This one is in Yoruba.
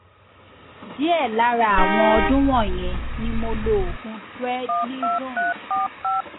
díẹ lára àwọn ọdún wọnyẹn ni mo lo oògùn prednizone